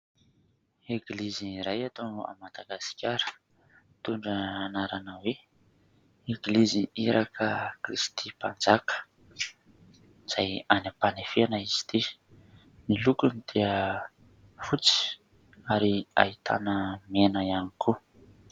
Eglizy iray eto Madagasikara mitondra ny anarana hoe : Eglizy iraka kristy mpanjaka izay any ampanefeana izy ity. Ny lokony dia fotsy ary ahitana mena ihany koa.